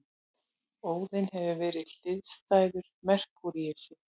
Óðinn hefur verið hliðstæður Merkúríusi.